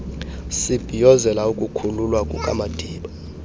sibhiyozela ukukhululwa kukamadiba